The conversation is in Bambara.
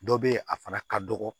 Dɔ be yen a fana ka dɔgɔ